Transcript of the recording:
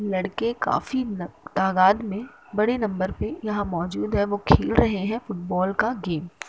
लड़के काफी न तादाद में बड़े नंबर पे यहाँं मौजूद है वो खेल रहे हैं फुटबॉल का गेम ।